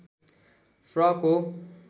frock हो